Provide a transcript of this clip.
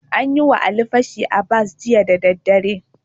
An yi wa Ali fashi a bas jiya daddadare.